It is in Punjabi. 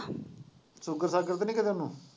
ਸੂਗਰ ਸਾਗਰ ਤਾਂ ਨੀ ਕਿਤੇ ਇਹਨੂੰ